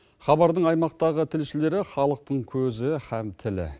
хабардың аймақтағы тілшілері халықтың көзі һәм тілі